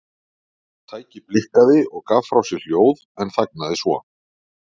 Tækið blikkaði og gaf frá sér hljóð en þagnaði svo.